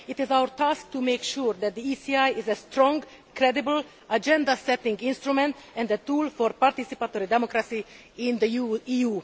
It is our task to make sure that the ECI is a strong, credible, agenda setting instrument and a tool for participatory democracy in the EU.